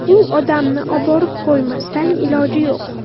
U odamni oborib qo‘ymasdan iloj yo‘q.